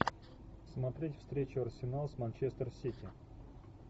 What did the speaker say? смотреть встречу арсенал с манчестер сити